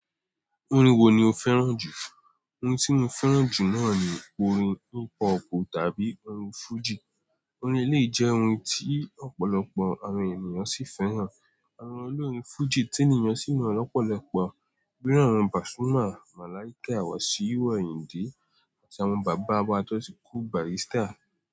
Orin wo ni o fẹ́ràn jù? Orin tí mo fẹ́ràn jù náà ni orin hip hop tàbí orin fújì. Orin elèyìí jẹ́ orin tí ọ̀pọ̀lọpọ̀ àwọn ènìyàn sì fẹ́ràn. Àwọn olórin fújì tí ènìyàn sì mọ̀ lọ́pọ̀lọpọ̀ Iru won naa ní àwọn Pasuma, Malaika, Wasiu Ayinde àti àwọn bàbá wa tó ti kú Bàrístà.